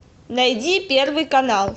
найди первый канал